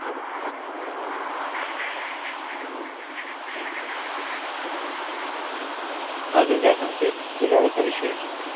अजून काय सांगतेस तुझ्या कडचा विशेष?